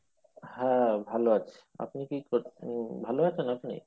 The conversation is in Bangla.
হ্যাঁ ভালো আছি আপনি কী উম ভালো আছেন আপনি?